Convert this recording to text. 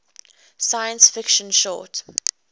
science fiction short